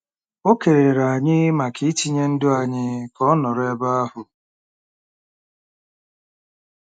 O kelere anyị maka itinye ndụ anyị ka ọ nọrọ ebe ahụ.